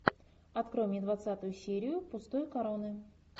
открой мне двадцатую серию пустой короны